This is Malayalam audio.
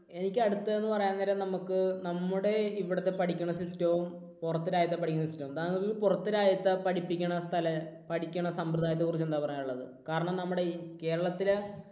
എനിക്ക് അടുത്തത് എന്ന് പറയാൻ നേരം നമുക്ക് നമ്മുടെ ഇവിടത്തെ പഠിക്കുന്ന system വും. പുറത്ത് രാജ്യത്തെ പഠിക്കുന്ന system വും താങ്കളീ പുറത്ത് രാജ്യത്തെ പഠിപ്പിക്കുന്ന സ്ഥലം, പഠിക്കണ സമ്പ്രദായത്തെ കുറിച്ച് എന്താണ് പറയാനുള്ളത്? കാരണം നമ്മുടെ കേരളത്തിൽ